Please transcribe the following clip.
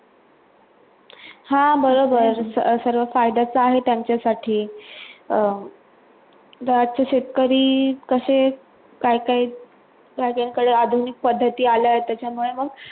हां बरोबर सर्व्ह आहे त्यांच्यासाठी अं दाट शेतकरी कसे काय काय लागेल याकडे आधुनिक पद्धती आला आहे त्याच्यामुळे मग?